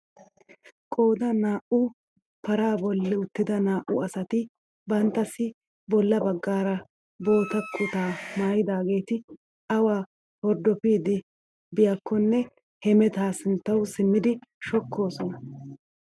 Qoodan naa"u paraa bolli uttida naa"u asati banttassi bolla baggaara bootta kutaa maayidaageti awa hordopiidi biyaakonne hemetaa sinttawu simmidi shokkoosona!